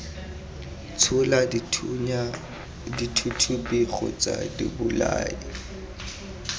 tshola dithunya dithuthupi kgotsa dibolai